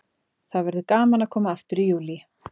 Það verður gaman að koma aftur í Júlí.